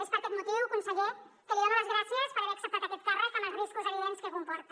és per aquest motiu conseller que li dono les gràcies per haver acceptat aquest càrrec amb els riscos evidents que comporta